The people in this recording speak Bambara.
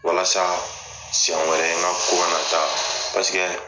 Walasa siɲɛn wɛrɛ n ka ko kana taa paseke